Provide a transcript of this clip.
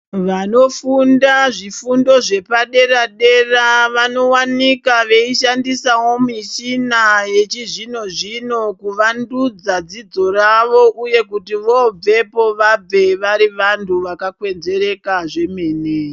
Vanofunda zvifundo zvepadera-dera vanovanika veishandisavo mishina yechizvino-zvino kuvandudza dzidzo ravo, uye kuti vobvepo vabve vari vantu vakakwenzvereka zvemene.